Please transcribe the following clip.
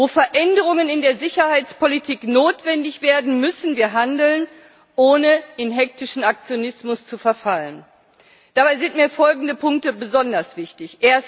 Wo Veränderungen in der Sicherheitspolitik notwendig werden, müssen wir handeln, ohne in hektischen Aktionismus zu verfallen. Dabei sind mir folgende Punkte besonders wichtig.